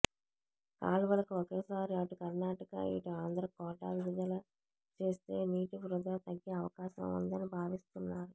కాల్వలకు ఒకేసారి అటు కర్నాటక ఇటు ఆంధ్ర కోటా విడుదల చేస్తే నీటి వృథా తగ్గే అవకాశం ఉందని భావిస్తున్నారు